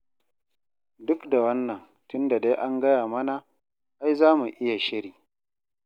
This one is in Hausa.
Duk da wannan, tun da dai an gaya mana, ai za mu iya shiri.